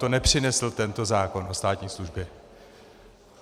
To nepřinesl tento zákon o státní službě.